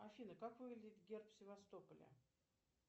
афина как выглядит герб севастополя